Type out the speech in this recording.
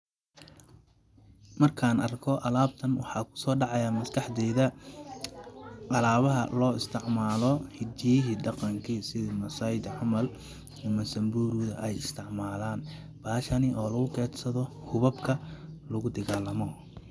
Markaan arko alaabtan waxaa kusoo dhacayaa maskaxdeyda; alaabaha loo isticmaalo hidihiyi dhaqankii sidi massai di camal ama samburu da ay isticmalaan ,bahashani oo lagu keydsado hubabka lagu digaalamo.